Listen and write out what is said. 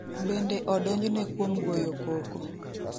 Bende odonjne kuom goyo koko.